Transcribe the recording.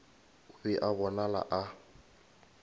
o be a bonala a